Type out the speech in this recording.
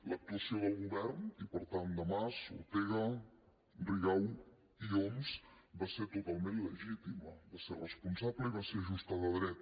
l’actuació del govern i per tant de mas ortega rigau i homs va ser totalment legítima va ser responsable i va ser justa de dret